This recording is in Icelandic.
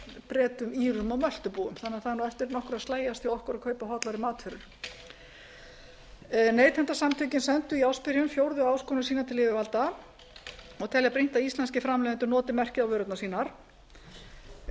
bretum írum og möltubúum þannig að það er eftir nokkru að slægjast hjá okkur að kaupa hollari matvörur neytendasamtökin sendu í ársbyrjun fjórðu áskorun sína til yfirvalda og telja brýnt að íslenskir framleiðendur noti merkið á vörurnar sínar skráargatið